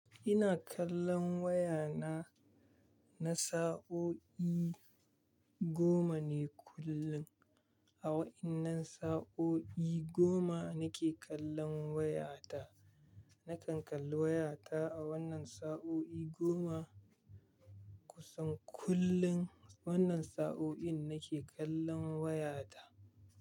Ina kallon wayana na sa'o'i goma ne kullum. A wa'innan sa'o'i goma nake kallon wayata. Nakan kalli wayata a wannan sa'o'i goma kusan kullum. Wannan sa'oin nake kallon wayata.